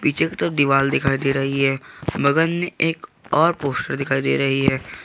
पीछे की तरफ दीवाल दिखाई दे रही है बगल में एक और पोस्टर दिखाई दे रही है।